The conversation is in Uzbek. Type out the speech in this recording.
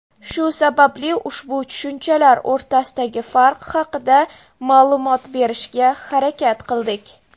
Shu sababli ushbu tushunchalar o‘rtasidagi farq haqida ma’lumot berishga harakat qildik.